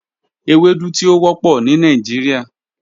Ewedu ti o wọpọ ni Nigeria.